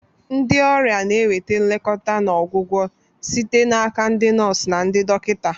Ndị ọrịa na-enweta nlekọta na ọgwụgwọ site n'aka ndị nọọsụ na ndị dọkịta.